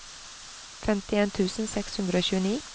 femtien tusen seks hundre og tjueni